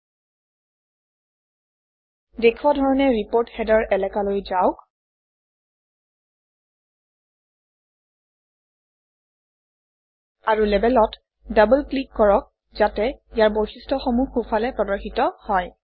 দেখুওৱা ধৰণে report header এলেকালৈ যাওক আৰু Label অত ডবল ক্লিক কৰক যাতে ইয়াৰ বৈশিষ্ট্যসমূহ সোঁফালে প্ৰদৰ্শিত হয়